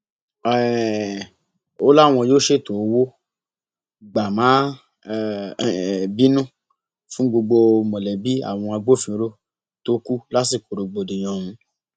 um ó láwọn yóò ṣètò owó gbà má um bínú fún gbogbo mọlẹbí àwọn agbófinró tó kù lásìkò rògbòdìyàn ọhún